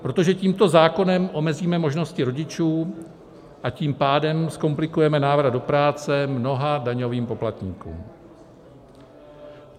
Protože tímto zákonem omezíme možnosti rodičů, a tím pádem zkomplikujeme návrat do práce mnoha daňovým poplatníkům.